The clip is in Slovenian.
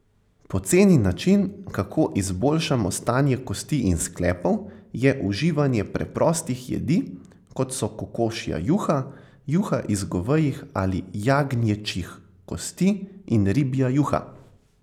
Poceni način, kako izboljšamo stanje kosti in sklepov, je uživanje preprostih jedi, kot so kokošja juha, juha iz govejih ali jagnječjih kosti in ribja juha.